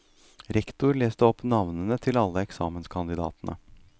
Rektor leste opp navnene til alle eksamenskandidatene.